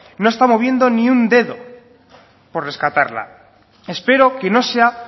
no está moviendo ni un dedo por rescatarla espero que no sea